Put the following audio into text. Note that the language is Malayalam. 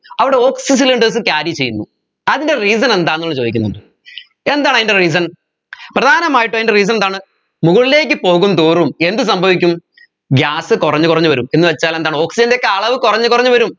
അവിടെ oxygen cylinders സ് carry ചെയ്യുന്നു അതിൻെറ reason എന്താണെന്ന് ഇവിടെ ചോദിക്കുന്നുണ്ട് എന്താണതിൻെറ reason പ്രധാനമായിട്ടും അതിന്റെ reason എന്താണ് മുകളിലേക്ക് പോകുന്തോറും എന്ത് സംഭവിക്കും gas കുറഞ്ഞ് കുറഞ്ഞ് വരും എന്നുവെച്ചാൽ എന്താണ് oxygen ൻറെ ഒക്കെ അളവ് കുറഞ്ഞ് കുറഞ്ഞ് വരും